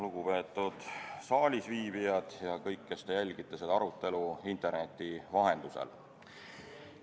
Lugupeetud saalisviibijad ja kõik, kes te jälgite seda arutelu interneti vahendusel!